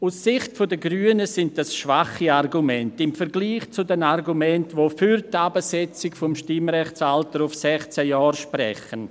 Aus Sicht der Grünen sind dies schwache Argumente – im Vergleich zu den Argumenten, die für die Herabsetzung des Stimmrechtsalters auf 16 Jahre sprechen.